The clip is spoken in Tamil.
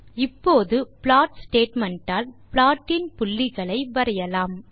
இப்போது ப்ளாட் ஸ்டேட்மெண்ட் ஆல் ப்லாட்டின் புள்ளிகளை வரையலாம்